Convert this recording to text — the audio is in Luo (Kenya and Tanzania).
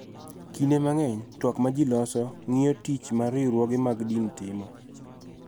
Kinde mang�eny, twak ma ji loso ng�iyo tich ma riwruoge mag din timo .